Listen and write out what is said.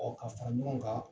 k'a fara ɲɔgɔn kan